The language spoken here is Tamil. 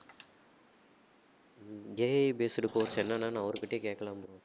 ஹம் AI based course என்னன்னான்னு அவர்கிட்டயே கேட்கலாம் bro